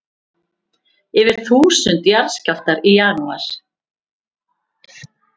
Yfir þúsund jarðskjálftar í janúar